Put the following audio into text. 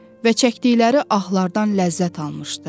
Və çəkdikləri ahlardan ləzzət almışdı.